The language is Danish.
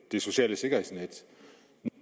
det sociale sikkerhedsnet